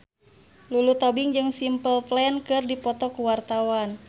Lulu Tobing jeung Simple Plan keur dipoto ku wartawan